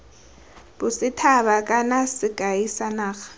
bosethaba kana sekai sa naga